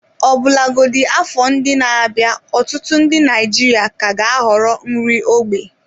Ọbụlagodi afọ ndị na-abịa, ọtụtụ ndị Naijiria ka ga-ahọrọ nri ógbè.